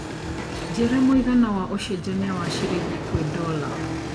njĩra mũigana wa ũcenjanĩa wa cĩrĩngĩ kwĩ dola